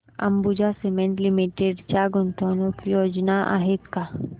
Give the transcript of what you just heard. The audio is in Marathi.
अंबुजा सीमेंट लिमिटेड च्या गुंतवणूक योजना आहेत का